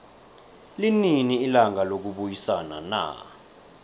linini ilanga lokubayisana na